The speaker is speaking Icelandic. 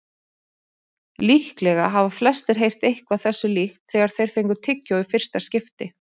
Líklega hafa flestir heyrt eitthvað þessu líkt þegar þeir fengu tyggjó í fyrsta skipti.